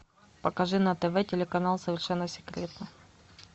покажи на тв телеканал совершенно секретно